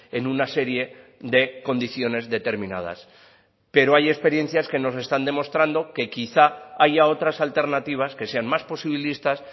en una serie de condiciones determinadas pero hay experiencias que nos están demostrando que quizá haya otras alternativas que sean más posibilistas